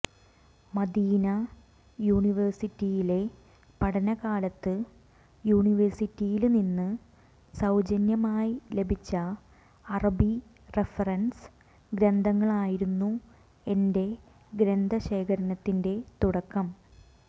മദീനാ യൂനിവേഴ്സിറ്റിയിലെ പഠനകാലത്ത് യൂനിവേഴ്സിറ്റിയില്നിന്ന് സൌജന്യമായി ലഭിച്ച അറബി റഫറന്സ് ഗ്രന്ഥങ്ങളായിരുന്നു എന്റെ ഗ്രന്ഥശേഖരത്തിന്റെ തുടക്കം